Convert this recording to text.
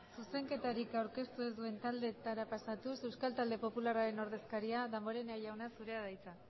zuzenketarik aurkeztu ez duen taldeetara pasatuz euskal talde popularraren ordezkaria damborenea jauna zurea da hitza